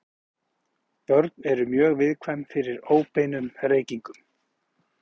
Börn eru mjög viðkvæm fyrir óbeinum reykingum.